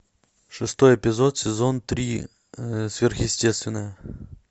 шестой эпизод сезон три сверхъестественное